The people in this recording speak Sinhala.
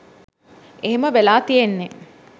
එහෙම වෙලා තියෙන්නේ